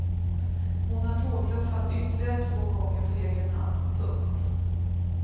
Hon har tågluffat ytterligare två gånger på egen hand. punkt